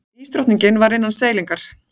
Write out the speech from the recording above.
Ísdrottningin var innan seilingar.